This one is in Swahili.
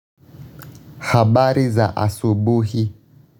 Habari za asubuhi.